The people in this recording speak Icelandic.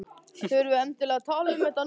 Þurfum við endilega að tala um þetta núna?